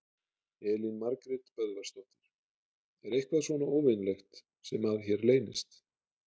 Elín Margrét Böðvarsdóttir: Er eitthvað svona óvenjulegt sem að hér leynist?